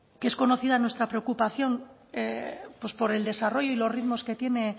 que es conocida nuestra preocupación por el desarrollo y los ritmos que tiene